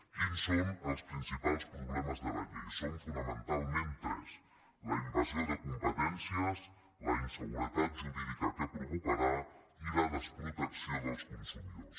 quins són els principals problemes de la llei són fonamentalment tres la invasió de competències la inseguretat jurídica que provocarà i la desprotecció dels consumidors